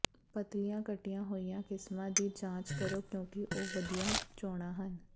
ਪਤਲੀਆਂ ਕੱਟੀਆਂ ਹੋਈਆਂ ਕਿਸਮਾਂ ਦੀ ਜਾਂਚ ਕਰੋ ਕਿਉਂਕਿ ਇਹ ਵਧੀਆ ਚੋਣਾਂ ਹਨ